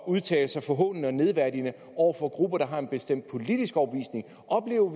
udtale sig forhånende og nedværdigende over for grupper der har en bestemt politisk overbevisning